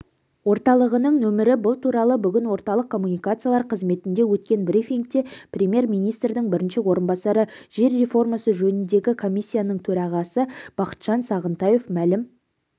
орталығының нөмірі бұл туралы бүгін орталық коммуникациялар қызметінде өткен брифингте премьер-министрдің бірінші орынбасары жер реформасы жөніндегі комиссияның төрағасы бақытжан сағынтаев мәлім